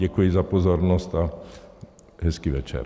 Děkuji za pozornost a hezký večer.